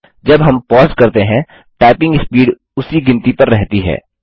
जब हम पॉज़ करते हैं टाइपिंग स्पीड उसी गिनती पर रहती है